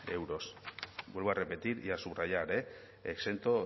euros vuelvo a repetir y a subrayar eh exento